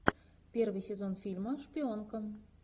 первый сезон фильма шпионка